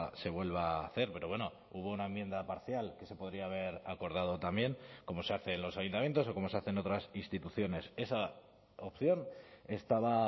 se vuelva a hacer pero bueno hubo una enmienda parcial que se podría haber acordado también como se hace en los ayuntamientos o como se hace en otras instituciones esa opción estaba